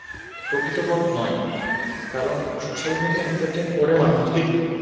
প্রকৃতপথ নয়, কারণ social media আয় entertain করে মানুষকে